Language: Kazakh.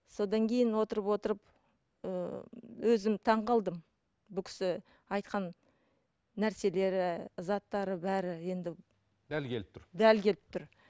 содан кейін отырып отырып ыыы өзім таңғалдым бұл кісі айтқан нәрселері заттары бәрі енді дәл келіп тұр дәл келіп тұр